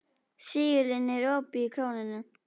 Sigurlinni, er opið í Krónunni?